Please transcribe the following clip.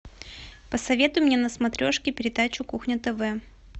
посоветуй мне на смотрешке передачу кухня тв